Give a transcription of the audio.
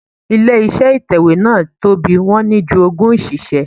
Ilé iṣẹ́ ìtẹ̀wẹ́ náà tóbi, wọ́n ní ju ogún òṣìṣẹ́.